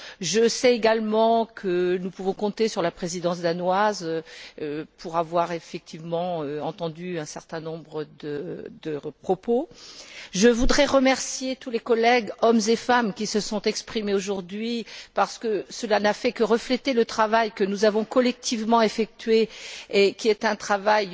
Je sais également que nous pouvons compter sur la Présidence danoise pour avoir effectivement entendu un certain nombre de propos. Je voudrais remercier tous les collègues, hommes et femmes, qui se sont exprimés aujourd'hui, parce que cela n'a fait que refléter le travail que nous avons collectivement effectué et qui est un travail